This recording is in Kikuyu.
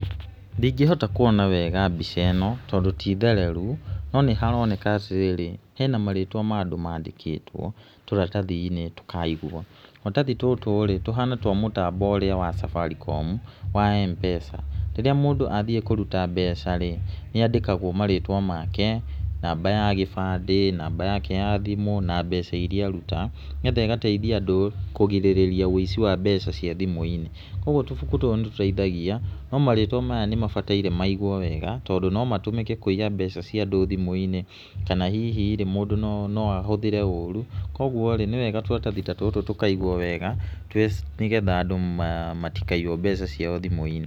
Ndingĩhota kuona wega mbica ĩno tondũ ti thereru, no nĩ haroneka atĩ rĩrĩ hena marĩtwa ma andũ mandĩkĩtwo tũratathi-inĩ tũkaigwo. Tũrathathi tũtũ rĩ, tũhana twa mũtambo ũrĩa wa Safaricom wa M-pesa. Rĩrĩa mũndũ athiĩ kũruta mbeca rĩ nĩ andĩkagwo marĩtwa make, namba ya gĩbandĩ, namba yake ya thimũ na mbeca iria aruta, nĩ getha ĩgateithia andũ kũgirĩrĩria wũici wa mbeca cia thimũ-inĩ, kuũguo tũbuku tũtũ nĩ tũteithagia no marĩtwa maya nĩ mabataire maigwo wega tondũ no mahũthĩke kũiya mbeca cia andũ thimũ-inĩ kana hihi mũndũ no ahũthĩre ũru, koguo rĩ nĩ wega tũratathi ta tũtũ tũkaigwo wega, nĩ getha andũ matikaiywo mbeca ciao thimũ-inĩ.